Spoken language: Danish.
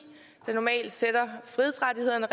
der normalt sætter frihedsrettighederne